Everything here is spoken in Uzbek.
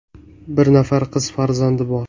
Bir nafar qiz farzandi bor.